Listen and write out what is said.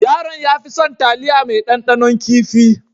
Yaron ya fi son taliya mai dandanon kifi.